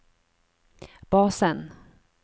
basen